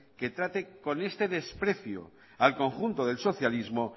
que trate con este desprecio al conjunto del socialismo